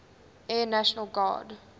air national guard